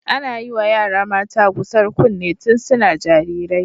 Ana yiwa yara mata gusar kunne tun suna jarirai.